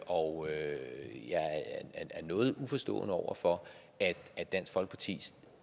og jeg er noget uforstående over for at at dansk folkeparti